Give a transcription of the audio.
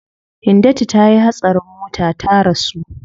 Hindatu tayi hatsarin mota ta rasu.